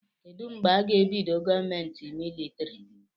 Kedụ mgbe aga ebido gọọmenti militrị?